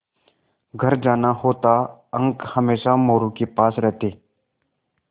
घर जाना होता अंक हमेशा मोरू के पास रहते